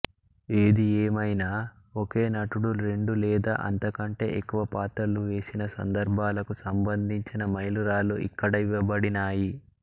ఏదిఏమైనా ఒకే నటుడు రెండు లేదా అంతకంటే ఎక్కువ పాత్రలు వేశిన సందర్భాలకు సంబంధించిన మైలురాళ్ళు ఇక్కడ ఇవ్వబడినాయి